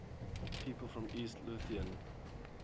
people from east lothian